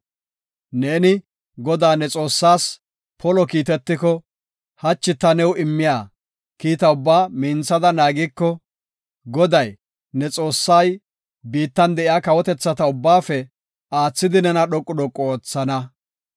Neeni Godaa ne Xoossaas polo kiitetiko, hachi ta new immiya kiita ubbaa minthada naagiko, Goday, ne Xoossay biittan de7iya kawotethata ubbaafe aathidi nena dhoqu dhoqu oothana.